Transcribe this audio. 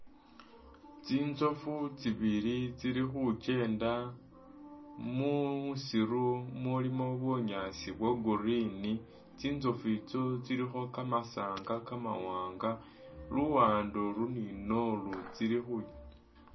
Tsintsofu tsi’bili tsili khukyenda musiru mulimo bunyaasi bwa’green ,tsintsofu itso tsilikho kamasanga kamawanga luwande ili ni’nalu tsili khu